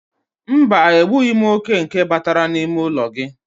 Mba, egbughi m oke nke batara n'ime ụlọ gị.